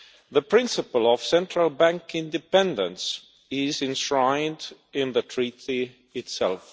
The principle of central bank independence is enshrined in the Treaty itself.